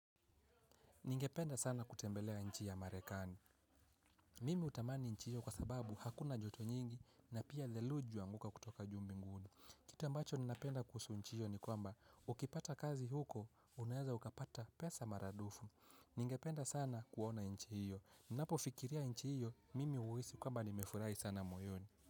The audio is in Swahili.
Ningependa sana kutembelea nchi ya marekani. Mimi hutamani nchi hiyo kwa sababu hakuna joto nyingi na pia theruji huanguka kutoka juu mbinguni. Kitu ambacho ninapenda kuhusu nchi hiyo ni kwamba ukipata kazi huko unaeza ukapata pesa maradufu. Ningependa sana kuona nchi hiyo. Ninapofikiria nchi hiyo mimi uhisi kwamba nimefurahi sana moyoni.